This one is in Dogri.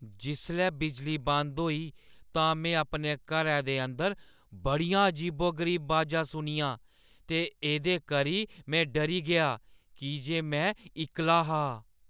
जिसलै बिजली बंद होई तां मैं अपने घरै अंदर बड़ियां अजीबो-गरीब अवाजां सुनियां ते एह्दे करी मैं डरी गेई की जे मैं इक्कला हा।